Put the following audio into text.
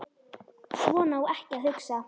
Svona á ekki að hugsa.